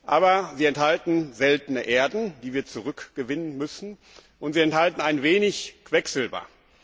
Aber sie enthalten seltene Erden, die wir zurückgewinnen müssen, und sie enthalten ein wenig Quecksilber.